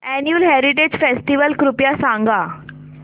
annual heritage festival कृपया सांगा